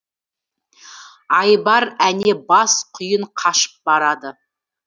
айбар әне бас құйын қашып барады